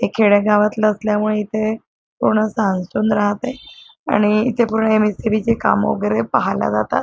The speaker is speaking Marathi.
हे खेड्यागावातल असल्यामुळे इथे पूर्णच सामसूम राहतय आणि इथे पूर्ण एम एस सी बी चे काम वेगैरे पाहायला जातात.